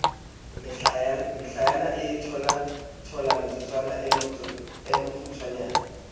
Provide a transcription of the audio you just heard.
mehlaena a tholathola motsotsoo mokgutswanyane